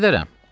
Gedərəm.